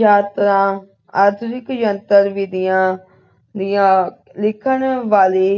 ਯਾਤਰਾ ਆਧੁਨਿਕ ਜੰਤਰ ਵਿਧੀਆਂ ਦੀਆਂ ਲਿਖਣ ਵਾਲੀ